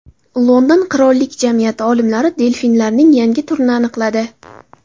London qirollik jamiyati olimlari delfinlarning yangi turini aniqladi.